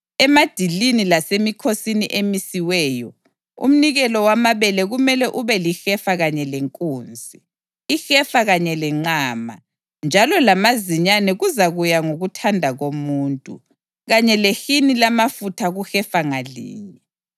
Emadilini lasemikhosini emisiweyo, umnikelo wamabele kumele ube lihefa kanye lenkunzi, ihefa kanye lenqama, njalo lamazinyane kuzakuya ngokuthanda komuntu, kanye lehini lamafutha kuhefa ngalinye.